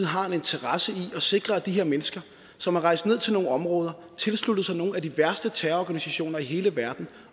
har en interesse i at sikre de her mennesker som er rejst ned til nogle områder tilsluttet sig nogle af de værste terrororganisationer i hele verden